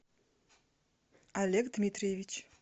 олег дмитриевич